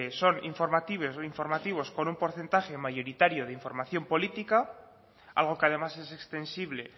son informativos con un porcentaje mayoritario de información política algo que además es extensible